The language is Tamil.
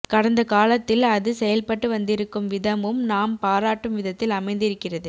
கடந்த காலத்தில் அது செயல்பட்டு வந்திருக்கும் விதமும் நாம் பாராட்டும் விதத்தில் அமைந்திருக்கிறது